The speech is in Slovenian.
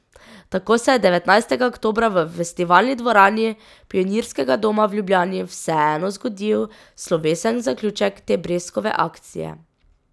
Tako se je devetnajstega oktobra v Festivalni dvorani Pionirskega doma v Ljubljani vseeno zgodil slovesen zaključek te breskove akcije.